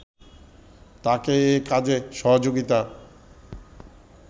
তাকে এ কাজে সহযোগিতা